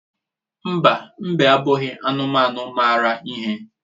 Mba, mbe abụghị anụmanụ mara ihe.